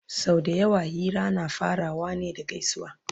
sau da yawa Hira na farawa ne da gaisuwa